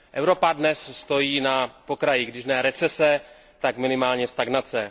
Evropa dnes stojí na pokraji když ne recese, tak minimálně stagnace.